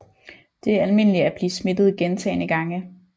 Det er almindeligt at blive smittet gentagne gange